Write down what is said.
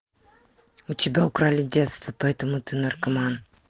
у тебя украли детство поэтому ты наркоман